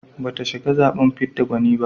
Bata shiga zaɓen fidda gwani ba.